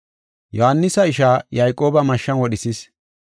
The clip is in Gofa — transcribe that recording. Yohaanisa ishaa Yayqooba mashshan wodhisis.